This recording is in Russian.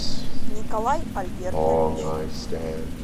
николай альбертович